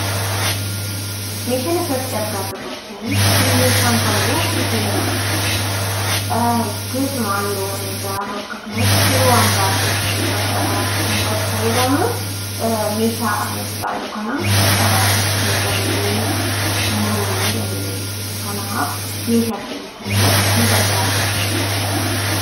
Meeshaan asirratti argaa jirru kun meeshaa muka muruuf nu fayyadudha. Keessumaa yeroo mana ijaarru, yeroo waantoota gara garaatiif muka fayyadamnu meeshaa asirratti ilaallu kana itti fayyadamnee muruu ni dandeenya jevmchuidha. Kanaaf meeshaa ittiin muka muruuf nu gargaarudha kun.